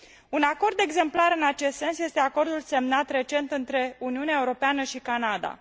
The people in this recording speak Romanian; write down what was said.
Un acord exemplar în acest sens este acordul semnat recent între Uniunea Europeană și Canada.